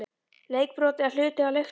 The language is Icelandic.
Leikbrot eða hluti af leiknum???